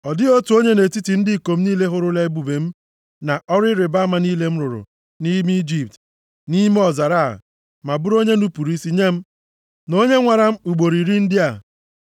Ọ dịghị otu onye nʼetiti ndị ikom niile hụrụla ebube m, na ọrụ ịrịbama niile m rụrụ nʼime Ijipt, na nʼime ọzara a, ma bụrụ onye nupuru isi nye m na onye nwaara m ugboro iri ndị a,